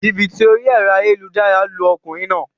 Jìbìtì orí èro ayélujára lu okùnrin naa